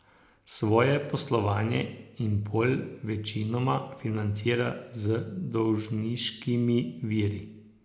Svoje poslovanje Impol večinoma financira z dolžniškimi viri.